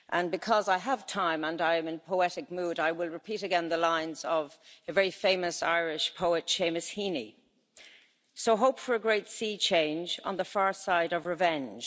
Because I have time and I am in poetic mood, I will repeat again the lines of a very famous Irish poet, Seamus Heaney So hope for a great sea change on the far side of revenge.